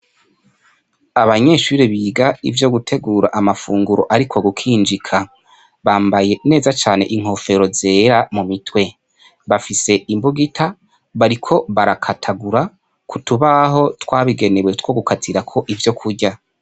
Abanyeshure biga ivyo gutegura amafunguro ari kukinjika, bambaye neza cane inkofero zera mu mutwe bafise imbugita bariko barakatagura kutubaho twabigenewe twogukatirako ivyo kurya.